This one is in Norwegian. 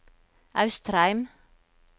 Austrheim